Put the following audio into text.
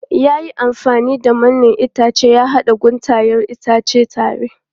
Ya yi amfani da mannen itace ya haɗa guntayen itacen tare.